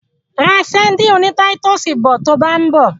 Ra sadíìnì oní táítọ̀sì bọ̀ to bá ń bọ̀.